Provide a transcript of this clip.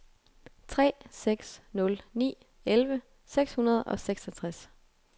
tre seks nul ni elleve seks hundrede og seksogtres